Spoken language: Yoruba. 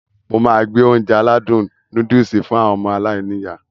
Mo máá gbé Ounjẹ aládùn nóódùsì fún àwọn ọmọ aláiníyá